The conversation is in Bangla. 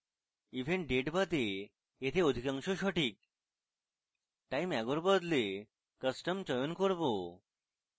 event date বাদে date অধিকাংশ সঠিক time ago এর বদলে custom চয়ন করব